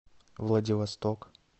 владивосток